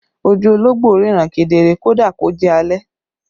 Ojú ológbò ríran kedere kódà kó jẹ́ alẹ́